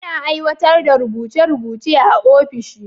Ana aiwatar da rubuce rubuce a ofishi.